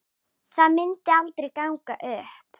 Það myndi aldrei ganga upp.